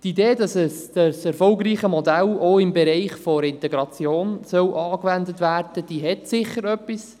Die Idee, dass dieses erfolgreiche Modell auch im Bereich der Integration angewendet werden soll, hat sicher etwas.